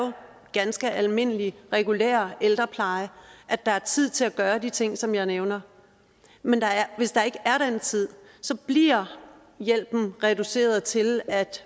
ganske almindelige regulære ældrepleje at der er tid til at gøre de ting som jeg nævner hvis der ikke er den tid bliver hjælpen reduceret til at